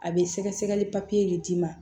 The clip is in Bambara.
A bɛ sɛgɛsɛgɛli de d'i ma